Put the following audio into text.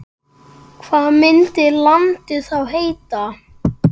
Hvað myndi landið þá heita?